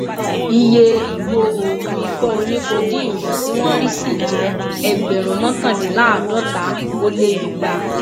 iye ìgò oògùn ikọ oníkódeine yìí tí wọn rí sí jẹ ẹgbẹrún mọkàndínláàádọta ó lé igba